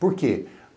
Por quê?